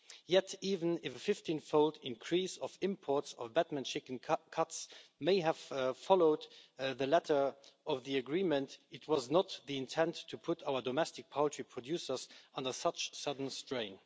Yet, even if a 15 fold increase of imports of Batman chicken cuts' may have followed the letter of the agreement, it was not the intent to put our domestic poultry producers under such sudden strain.